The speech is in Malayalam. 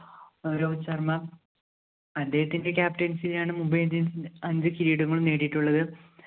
രോഹിത് ശര്‍മ്മ. അദ്ദേഹത്തിന്റെ captain സിയിലാണ് Mumbai Indians അഞ്ച് കിരീടങ്ങളും നേടിയിട്ടുള്ളത്.